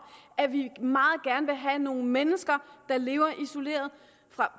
at vi meget gerne vil have nogle mennesker der lever isoleret